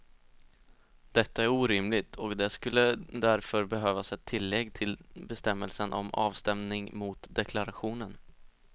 Detta är orimligt och det skulle därför behövas ett tillägg till bestämmelsen om avstämning mot deklarationen.